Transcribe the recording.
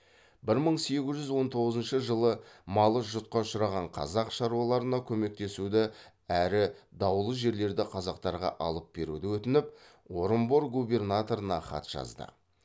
бір мың сегіз жүз он тоғызыншы жылы малы жұтқа ұшыраған қазақ шаруаларына көмектесуді әрі даулы жерлерді қазақтарға алып беруді өтініп орынбор губернаторына хат жазды